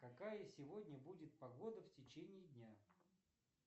какая сегодня будет погода в течении дня